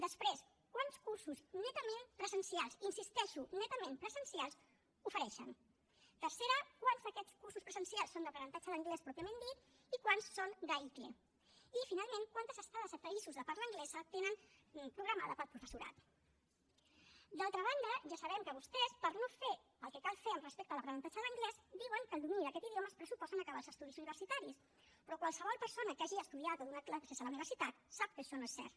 després quants cursos netament presencials hi insisteixo netament presencials ofereixen tercera quants d’aquests cursos presencials són d’aprenentatge d’anglès pròpiament dit i quants són d’aicle i finalment quantes estades a països de parla anglesa tenen programades per al professorat d’altra banda ja sabem que vostès per no fer el que cal fer respecte a l’aprenentatge d’anglès diuen que el domini d’aquest idioma es pressuposa en acabar els estudis universitaris però qualsevol persona que hagi estudiat o donat classes a la universitat sap que això no és cert